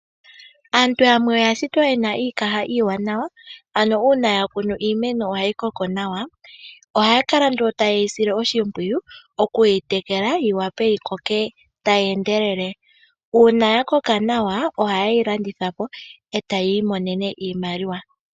Aantu yamwe oya shitwa ye na iikaha iiwanawa ano uuna ya kunu iimeno ohayi koko nawa. Ohaya kala nduno taye yi sile oshimpwiyu okuyi tekela yi wape yi koke tayi endelele. Uuna ya koka nawa ohaye yi landitha po e taya imonene iimaliwa.